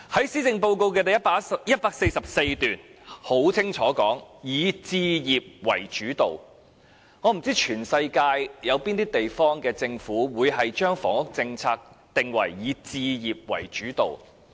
施政報告第144段清楚寫明，房屋政策"以置業為主導"，我不知道全世界有哪些地方的政府會將房屋政策定為"以置業為主導"。